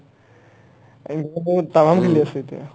তাম্মাম খেলি আছে এতিয়া